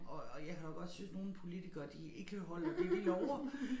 Og og jeg kan da godt synes nogle politikere de ikke holder det de lover